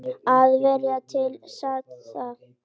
Að vera til staðar.